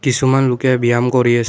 কিছুমান লোকে ব্যায়াম কৰি আ--